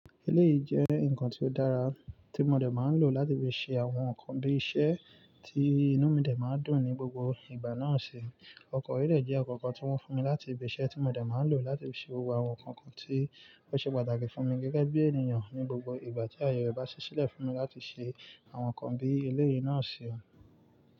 Eléyìí jẹ́ ǹkan tí ó dára tí mo dẹ̀ máa ń lò láti fi ṣe àwọn nǹkan bí iṣẹ́ tí inú mi dẹ̀ máa ń dùn ní gbogbo ìgbà náà ṣe. Ọkọ̀ orí-ilẹ̀ jẹ́ ọ̀kọ̀ọ̀kan tí wọ́n fún mi láti ibi ṣẹ́ tí mo dẹ̀ máa ń lò láti fi ṣe gbogbo àwọn nǹkan kan tí ó ṣe pàtàkì fún mi gẹ́gẹ́ bí ènìyàn ní gbogbo ìgbà tí aye rẹ̀ bá ṣí sílẹ̀ fún mi láti ṣe àwọn nǹkan bí eléyìí náà ṣe han.